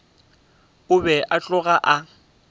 o be a tloga a